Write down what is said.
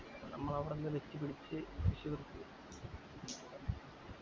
നമ്മളവിടന്ന് lift പിടിച്ച് തൃശൂർ ക്ക്